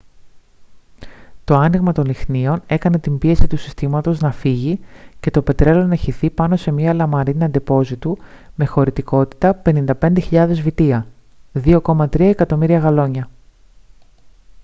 το άνοιγμα των λυχνίων έκανε την πίεση του συστήματος να φύγει και το πετρέλαιο να χυθεί πάνω σε μια λαμαρίνα ντεπόζιτου με χωρητικότητα 55.000 βυτία 2,3 εκατομμύρια γαλόνια